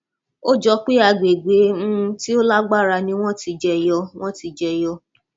ó jọ pé agbègbè um tí ó lágbára ni wọn ti jẹyọ wọn ti jẹyọ